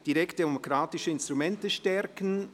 «Direktdemokratische Instrumente stärken».